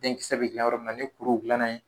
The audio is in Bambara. Denkisɛ bɛ dilan yɔrɔ min na ni kuruw dilanna yen.